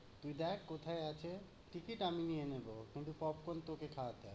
তুই দেখ কোথায় আছে, ticket আমি নিয়ে নিবো, কিন্তু popcorn তোকে খাওয়াতে হবে।